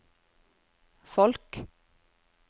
folk